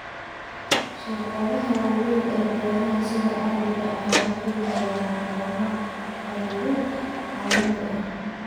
Shirkadaha waaweyn ee beeraha sida caadiga ah waxay helaan kanaalo qaybin caalami ah.